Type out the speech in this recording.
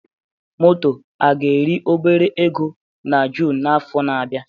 moto a ga-eri obere ego na June n'afọ na-abịa?